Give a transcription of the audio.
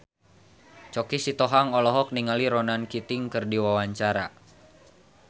Choky Sitohang olohok ningali Ronan Keating keur diwawancara